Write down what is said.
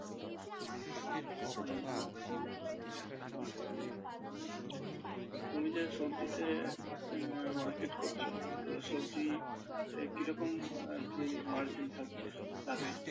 তো তুমি যে সবজিতে আহ market করছো তো সবজিতে কি রকম আর কি margin থাকছে লাভের?